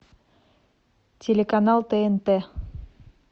телеканал тнт